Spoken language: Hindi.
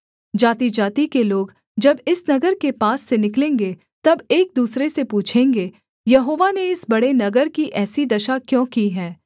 जातिजाति के लोग जब इस नगर के पास से निकलेंगे तब एक दूसरे से पूछेंगे यहोवा ने इस बड़े नगर की ऐसी दशा क्यों की है